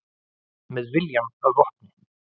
Með viljann að vopni